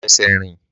Má fẹsẹ̀ rìn!